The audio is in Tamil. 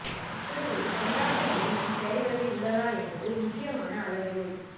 அப்படி ஒரு கொண்டாட்டநிலை நம் செயல்களில் உள்ளதா என்பது முக்கியமான அளவுகோல்